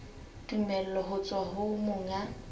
tumello ho tswa ho monga